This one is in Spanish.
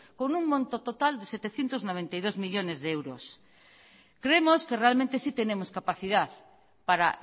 con un monto total de setecientos noventa y dos millónes de euros creemos que realmente sí tenemos capacidad para